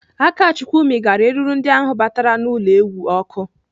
Akachukwu mịgara eruru ndị ahụ batara n'ụlọ ewu ọkụ.